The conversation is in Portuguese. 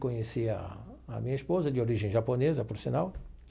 Conheci a a minha esposa, de origem japonesa, por sinal.